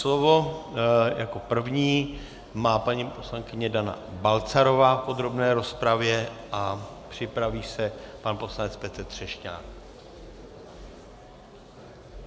Slovo jako první má paní poslankyně Dana Balcarová v podrobné rozpravě a připraví se pan poslanec Petr Třešňák.